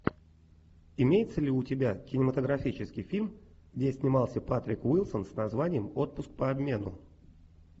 имеется ли у тебя кинематографический фильм где снимался патрик уилсон с названием отпуск по обмену